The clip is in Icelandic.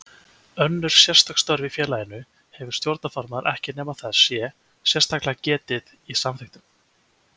Önnur sérstök störf í félaginu hefur stjórnarformaður ekki nema þess sé sérstaklega getið í samþykktunum.